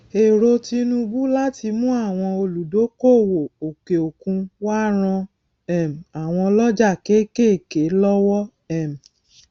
ọkan lára ọkan lára ohun èlò tí o le lo lati san gbèsè ni àkóyawọ àti òtítọ